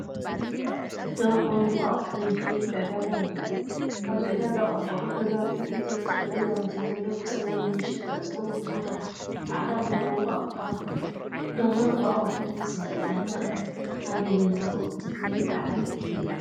ደርሆን እንቋቑሖን ዝሸይጥ ዕዳጋ ይርአ። ኣብዚ ዕዳጋ ቆርቆሮ ገዛውትን ዕንጨይቲ ጠረጴዛታትን ዘለዎ፡ ብጸጋም ንመሸጣ ዝኸውን ኵምራ ጻዕዳን ቡናውን እንቋቑሖ ኣሎ፣ ደርሆን እንቋቑሖን ብብዝሒ ኣብ ዕዳጋ ኣብ ኣየናይ ወቕቲ ወይ በዓል ይሽየጥ?